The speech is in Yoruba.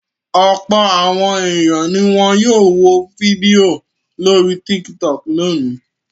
Ọ̀pọ̀ àwọn ènìyàn ni wọn yóò wo fídíò lórí Tiktok lónìí.